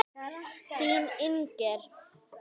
Þín, Inger.